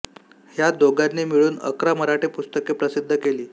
ह्या दोघांनी मिळून अकरा मराठी पुस्तके प्रसिद्ध केली